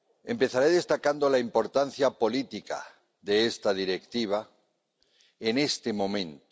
Empezaré destacando la importancia política de esta Directiva en este momento.